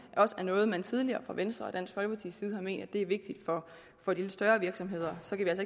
også er noget man tidligere fra venstre og dansk folkepartis side har ment er vigtigt for de lidt større virksomheder så kan